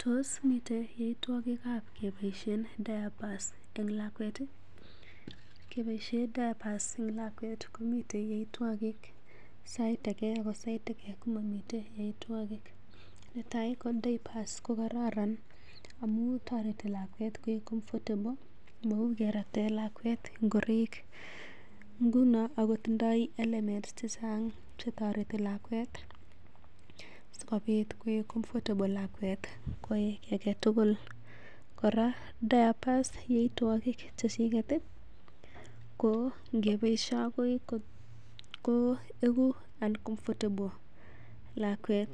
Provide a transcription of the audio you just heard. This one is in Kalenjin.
Tos miten yoitwogikab keboisien diapers en lakwet ii? Arorun. Keboisien diapers en lakwet komiten yoitwogik sait age ago sait age komomiten yaitwogik. Netai ko diapers kokararan amun toreti lakwet koik comfortable mou kerate lawket ngoroik. Ngunon ago tindo elements che chang chetoreti lakwet sikobit koik comfortable lakwet koyai kiy age tugul. Kora diapers yaitwogik che chiget ii ko ngeboishe agoi ko igu uncomfortable lakwet